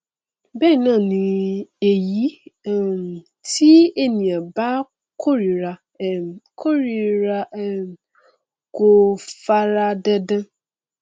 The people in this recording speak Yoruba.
bẹẹ náà ni èyí um tí ènìyàn bá kórira um kórira um kò fara dandan